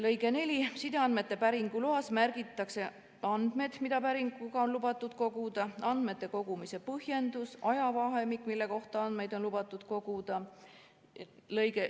" Lõige 4: "Sideandmete päringu loas märgitakse: 1) andmed, mida päringuga on lubatud koguda; 2) andmete kogumise põhjendus; 3) ajavahemik, mille kohta andmeid on lubatud koguda.